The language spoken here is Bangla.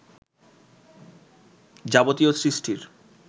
যাবতীয় সৃষ্টির